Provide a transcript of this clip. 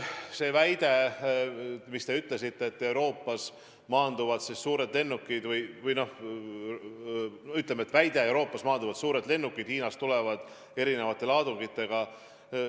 Te väitsite, et Euroopas maanduvad suured lennukid, mis tulevad Hiinast erinevate laadungitega.